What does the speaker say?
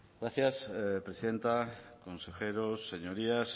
gracias presidenta consejeros señorías